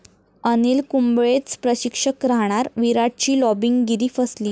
अनिल कुंबळेच प्रशिक्षक राहणार, विराटची 'लाॅबिंग'गिरी फसली